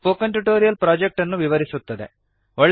ಇದು spoken tutorial project ಅನ್ನು ವಿವರಿಸುತ್ತದೆ